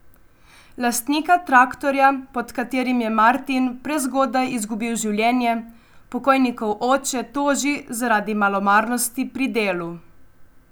Lastnika traktorja, pod katerim je Martin prezgodaj izgubil življenje, pokojnikov oče toži zaradi malomarnosti pri delu.